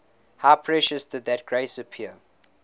how precious did that grace appear